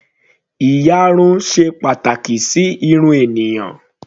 Ìyarun ṣe pàtàkì sí irun ènìyàn.